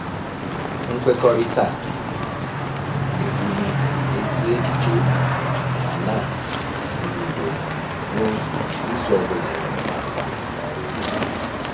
Mkwekọrịta a na-ewuli ezi echiche obi ma na-enye udo n'obi izu ọbụla e nwere gbalụ gbalụ n'ọrụ ubi